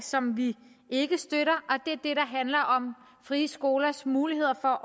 som vi ikke støtter og handler om frie skolers mulighed for